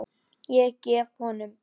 Ég gef honum